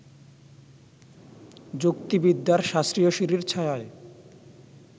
যুক্তিবিদ্যার শাস্ত্রীয় সিঁড়ির ছায়ায়